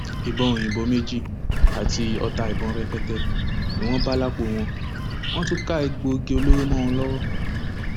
ìbọn òyìnbó méjì àti ọta ìbọn rẹpẹtẹ ni wọn bá lápò wọn wọn tún ká egbòogi olóró mọ wọn lọwọ